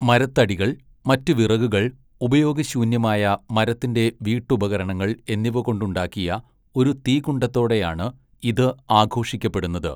മരത്തടികൾ, മറ്റു വിറകുകൾ, ഉപയോഗശൂന്യമായ മരത്തിൻ്റെ വീട്ടുപകരണങ്ങൾ എന്നിവകൊണ്ടുണ്ടാക്കിയ ഒരു തീകുണ്ഡത്തോടെയാണ് ഇത് ആഘോഷിക്കപ്പെടുന്നത്.